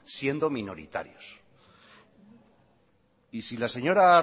siendo minoritarios y si la señora